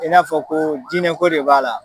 I n'a fɔ ko djnɛko de b'a la.